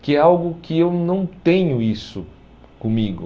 Que é algo que eu não tenho isso comigo.